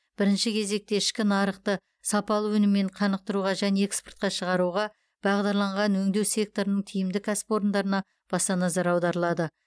бірінші кезекте ішкі нарықты сапалы өніммен қанықтыруға және экспортқа шығуға бағдарланған өңдеу секторының тиімді кәсіпорындарына баса назар аударылады